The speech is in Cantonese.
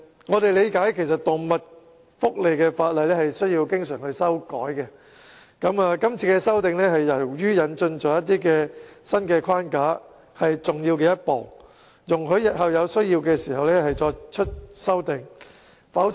我們明白，動物福利法例需要經常更新，而這次修訂由於引入了新框架，是重要的一步，使日後有需要時可再作修訂。